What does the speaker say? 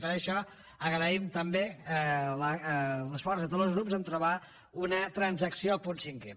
i per això agraïm també l’esforç de tots los grups a trobar una transacció al punt cinquè